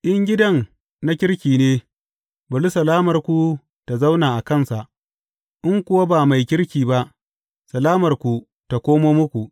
In gidan na kirki ne, bari salamarku ta zauna a kansa; in kuwa ba mai kirki ba, salamarku ta komo muku.